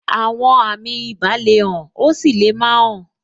Àwọn àmì ibà le hàn, ó sì lè má hàn.